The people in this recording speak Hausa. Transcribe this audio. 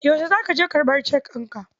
Yaushe za ka je karɓar cek ɗinka?